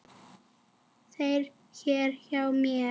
þér hér hjá mér